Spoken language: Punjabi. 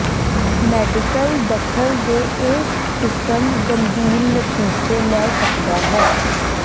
ਮੈਡੀਕਲ ਦਖਲ ਦੇ ਇਹ ਕਿਸਮ ਗੰਭੀਰ ਨਤੀਜੇ ਲੈ ਸਕਦਾ ਹੈ